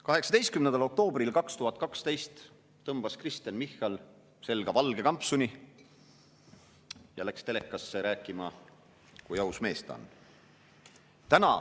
18. oktoobril 2012 tõmbas Kristen Michal selga valge kampsuni ja läks telekasse rääkima, kui aus mees ta on.